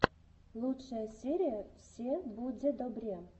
лучшая серия все буде добре